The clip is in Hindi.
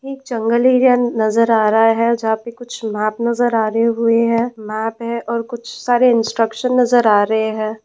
एक जंगल एरिया नजर आ रहा है जहां पर कुछ मैप नजर आ रहे हुए हैं मैप है और कुछ सारे इंस्ट्रक्शन नजर आ रहे हैं।